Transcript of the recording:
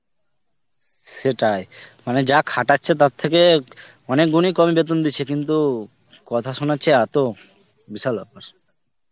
সেটাই. মানে যা খাটাচ্ছে তার থেকে অনেক গুণই কমই বেতন দিছে, কিন্তু কথা শোনাচ্ছে এতো বিশাল ব্যাপার.